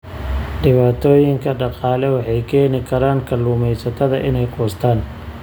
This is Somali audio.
Dhibaatooyinka dhaqaale waxay keeni karaan kalluumaysatada inay quustaan.